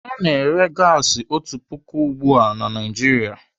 Ana ere gasi otu puku ugbu a na Naijiria